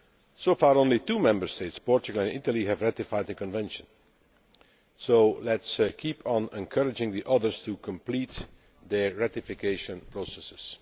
So far only two Member States Portugal and Italy have ratified the Convention, so let us continue encouraging the others to complete their ratification processes.